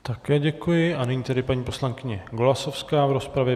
Také děkuji a nyní tedy paní poslankyně Golasowská v rozpravě.